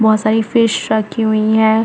बहुत सारी फिश रखी हुई है।